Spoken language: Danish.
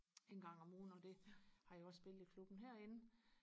en gang om ugen og det har jeg også spillet i klubben herinde